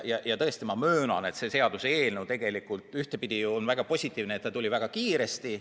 Ma tõesti möönan, et ühtpidi on positiivne, et see seaduseelnõu tuli väga kiiresti.